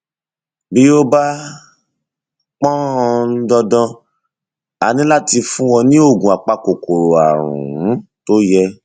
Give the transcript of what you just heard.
bí ó bá pọn um dandan a ní láti fún ọ ní oògùn apakòkòrò ààrùn um tó yẹ